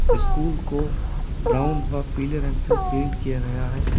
School को brown व पीले रंग से पेंट किया गया है।